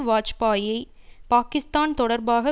வாஜ்பாயியை பாக்கிஸ்தான் தொடர்பாக